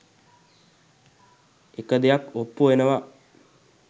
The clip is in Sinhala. එක දෙයක් ඔප්පු වෙනව.